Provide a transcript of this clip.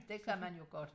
Det kan man jo godt